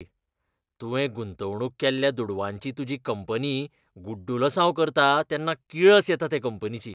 तुवें गुंतवणूक केल्ल्या दुडवांची तुजी कंपनी गुड्डुलसांव करता तेन्ना किळस येता ते कंपनीची.